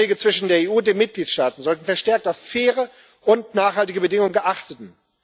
Die Handelsverträge zwischen der EU und den Mitgliedstaaten sollten verstärkt auf faire und nachhaltige Bedingungen achten.